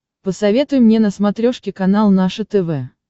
посоветуй мне на смотрешке канал наше тв